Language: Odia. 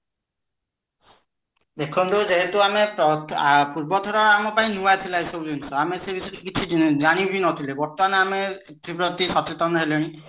ଦେଖନ୍ତୁ ଯେହେତୁ ଆମେ ପୂର୍ବ ଥର ଆମ ପାଇଁ ନୂଆ ଥିଲା ଏଇ ଜିନିଷ କିଛି କିଛି ଜାଣି ବି ନଥିଲେ ବର୍ତମାନ ଆମେ ସେ ପ୍ରତି ସଚେତନ ହେଲେଣି